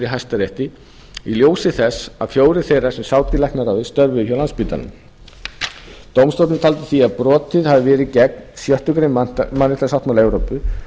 hæstarétti í ljósi þess að fjórir þeirra sem sátu í læknaráði störfuðu hjá landspítalanum dómstóllinn taldi því að brotið hefði verið gegn sjöttu grein mannréttindasáttmála evrópu